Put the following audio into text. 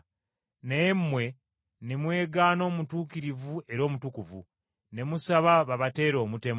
naye mmwe ne mwegaana omutuukirivu era omutukuvu, ne musaba babateere omutemu.